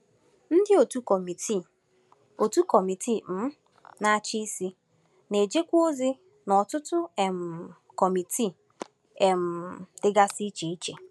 Ndị òtù Kọmitii òtù Kọmitii um Na-achị Isi na-ejekwa ozi n’ọtụtụ um kọmitii um dịgasị iche iche.